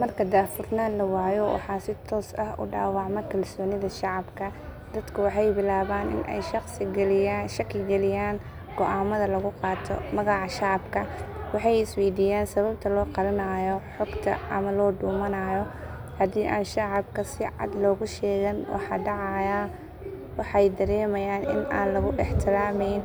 Marka daahfurnaan la waayo waxaa si toos ah u dhaawacma kalsoonida shacabka. Dadku waxay bilaabaan in ay shaki geliyaan go’aamada lagu qaato magaca shacabka. Waxay is weydiiyaan sababta loo qarinayo xogta ama loo dhuumanayo. Haddii aan shacabka si cad loogu sheegan waxa dhacaya, waxay dareemayaan in aan lagu ixtiraameyn.